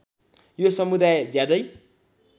यो समुदाय ज्यादै